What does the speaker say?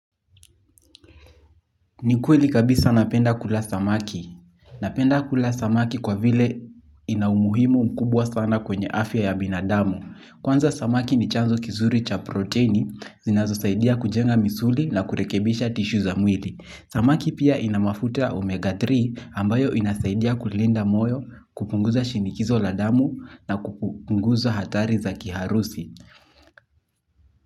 Ni kweli kabisa napenda kula samaki. Napenda kula samaki kwa vile ina umuhimu mkubwa sana kwenye afya ya binadamu. Kwanza samaki ni chanzo kizuri cha proteini, zinazosaidia kujenga misuli na kurekebisha tishu za mwili. Samaki pia ina mafuta omega tatu ambayo inasaidia kulinda moyo, kupunguza shinikizo la damu na kupunguza hatari za kiharusi.